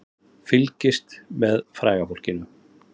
Fylgst með fræga fólkinu